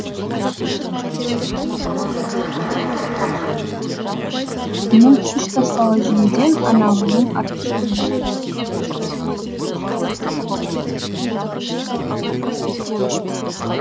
мұның үш таспалы жүйеден анағұрлым артықшылығы бар